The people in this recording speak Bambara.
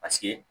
Paseke